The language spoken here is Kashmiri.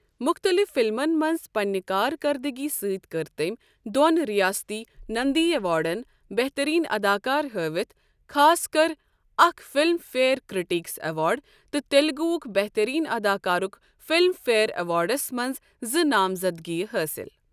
مختلف فلمَن منٛز پنٛنہ کارکردٕگی سۭتۍ کٔر تٔمۍ دۄن ریاستی نندی ایوارڈن، بہترین اداکار ہٲوتھ خٲطرٕ اکھ فلم فییر کرٛٹیکس ایوارڈ، تہٕ تیلگوہک بہترین اداکارک فلم فیئر ایوارڈس منٛز زٕ نامزدگیہِ حٲصِل۔